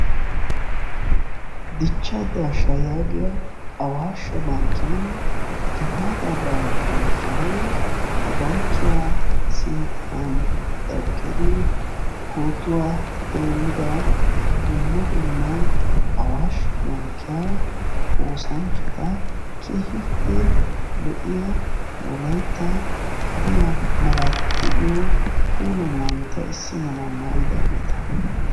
Dichchaa daashshaa yaagiyaa awaashshe bankkiyaan gifaataa baalaa bonchchanawu ha bankkiyaa sinttan eqqidi pootuwaa denddida dumma dumma awaashshe bankkiyaa oosanchchata keehippe lo'iyaa wolaytta hadiyaa malaatay de'iyoo puula maayota issi malaa maayidaageta.